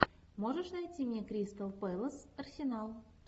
можешь найти мне кристал пэлас арсенал